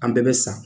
An bɛɛ bɛ sa